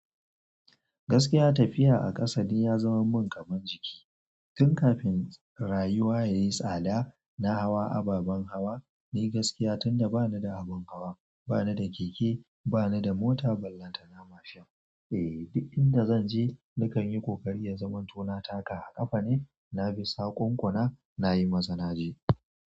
Gaskiya tafiya a ƙasa ya zamar mun kamar jiki tun kafin rayuwa yayi tsada na hawa ababen hawa dai gaskiya tun da ba ni da abin hawa, ba ni da keke, ba ni da mota, ballanta na mashin. Eh duk inda zan je nakan yi ƙoƙari ya zama tona taka a ƙafa ne, na bi saƙon ƙuna, na yi maza naje.